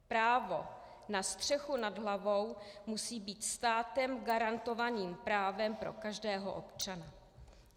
Právo na střechu nad hlavou musí být státem garantovaným právem pro každého občana.